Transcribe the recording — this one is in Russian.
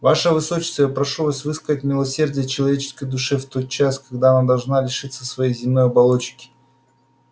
ваше высочество я прошу вас выказать милосердие человеческой душе в тот час когда она должна лишиться своей земной оболочки